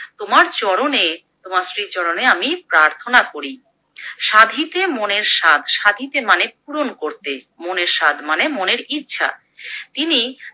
তোমার চরণে তোমার শ্রীচরণে আমি প্রার্থনা করি। সাধিতে মনের সাধ সাধিতে মানে পূরণ করতে মনের সাধ মানে মনের ইচ্ছা। তিনি